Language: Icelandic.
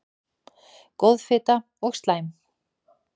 Góð fita og slæm